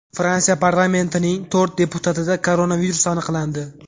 Fransiya parlamentining to‘rt deputatida koronavirus aniqlandi.